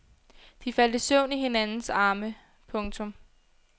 De faldt i søvn i hinandens arme. punktum